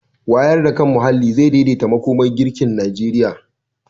Wayar da kan muhalli zai daidaita makomar girkin Najeriya.